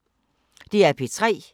DR P3